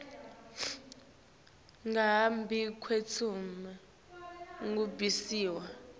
ngaphambi kwekutsi kubhaliswa